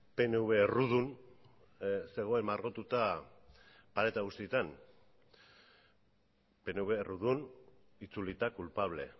pnv errudun zegoen margotuta pareta guztietan pnv errudun itzulita culpable